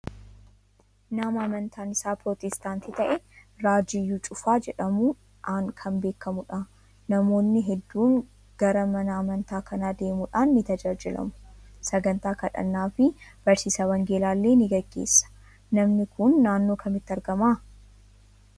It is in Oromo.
Nama amantaan isaa pirootestaantii ta'e Raajii Iyyuu Cufaa jedhamuudhaan kan beekamu dha. Namoonni hedduun gara mana amantaa kanaa deemuudhaan ni tajaajilamu. Saganttaa kadhannaafi barsiisa Wangeelaa ilee ni gaggeessa. Namni kun naannoo kamitti argamaa?